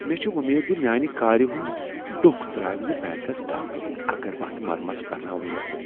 مے٘ چھِ امید ز میانہ كارِ ہُند ڈۄکھ تراوِ نہٕ بینكس ڈاكہِ اگر بہٕ اتھ مرمت كرناوُن یژھہٕ ۔